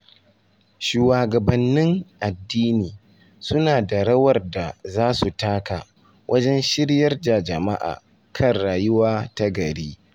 Shuwagabannin addini suna da rawar da za su taka wajen shiryar da jama’a kan rayuwa ta gari.